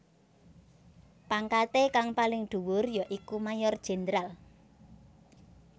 Pangkaté kang paling dhuwur ya iku Mayor Jenderal